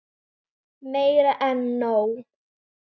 Meira en nóg.